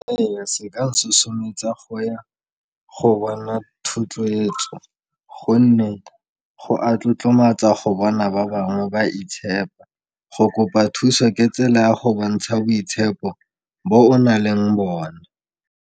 Eya, seka sosometsa go ya go bona thotloetso gonne go a tlotlomatsa go bona ba bangwe ba itshepa, go kopa thuso ke tsela ya go bontsha boitshepo bo o naleng bone.